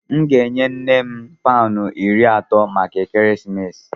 M ga-enye nne m paụnụ iri atọ maka ekeresimesi.